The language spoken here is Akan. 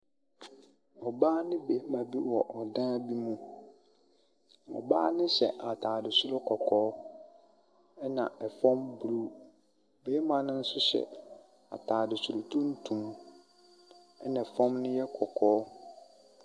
Ɔbaa ne bɛrima bi wɔ ɔdan bi mu. Ɔbaa no hyɛ ataade soro kɔkɔɔ ɛna ɛfam blu. Bɛrima no nso hyɛ ataade soro tuntum ɛna fam no yɛ kɔkɔɔ.